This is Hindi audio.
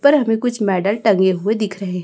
पर हमें कुछ मेडल टंगे हुए दिख रहे हैं।